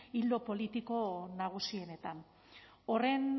ildo politiko nagusienetan horren